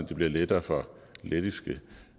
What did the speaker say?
det bliver lettere for lettiske